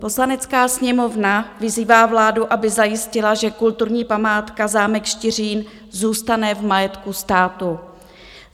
"Poslanecká sněmovna vyzývá vládu, aby zajistila, že kulturní památka zámek Štiřín zůstane v majetku státu.